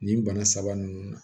Nin bana saba ninnu na